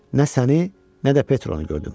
Nə səni, nə də Petronu gördüm.